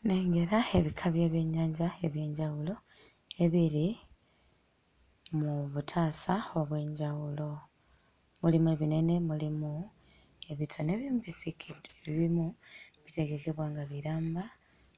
Nnengera ebika by'ebyennyanja eby'enjawulo ebiri mu butaasa obw'enjawulo. Mulimu ebinene, mulimu ebitono, ebimu bisiike, ebimu bitegekebwa nga biramba